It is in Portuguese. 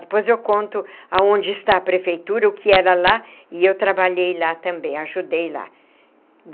Depois eu conto aonde está a prefeitura, o que era lá, e eu trabalhei lá também, ajudei lá.